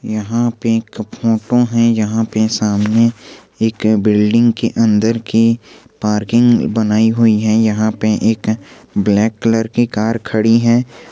यहां पे एक ठो फोटो है यहां पे सामने एक बिल्डिंग के अंदर की पार्किंग बनाई हुई है यहां पे एक ब्लैक कलर की कार खड़ी है।